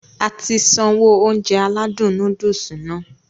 Ati sanwó Ounjẹ aládùn nóódùsì Nàá